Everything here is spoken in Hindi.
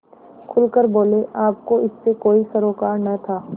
खुल कर बोलेआपको इससे कोई सरोकार न था